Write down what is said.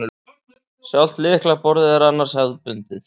Sjálft lyklaborðið er annars hefðbundið